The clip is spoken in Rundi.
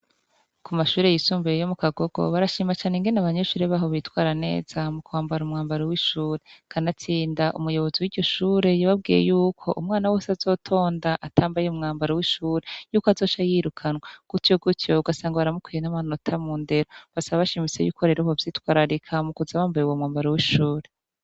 Ku mashuri yisumbuye yo mukagogo barashima cane ingene abanyeshuri baho bitwara neza mu kwambara umwambaro w'ishuri kanatsinda umuyobozi wiryo shuri yababwiye yuko umwana wese azotonda atambaye umwambaro w'ishuri yuko azoca yirukanwa gutyo gutyo ugasanga baramukuye n'amanota mu ndero basaba bashimitse yuko bo vyitwararika mu kuza bambaye uwo mwambaro w'ishuri.